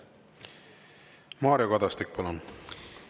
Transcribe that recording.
Mario Kadastik, palun!